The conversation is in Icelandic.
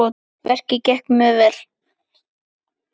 Verkið gekk mjög vel.